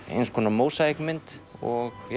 eins konar mósaíkmynd og